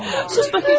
Sus, Fəxriyyə!